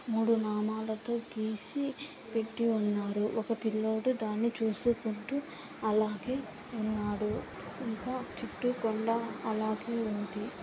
మూడు నామాలతో గీసి పెట్టి ఉన్నారు ఒక పిల్లోడు దాన్ని చూసుకుంటూ అలాగే ఉన్నాడు ఇంకా చుట్టూ కొండా అలాగే ఉంది.